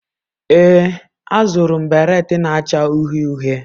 Ee, azụrụ m baret na-acha uhie uhie.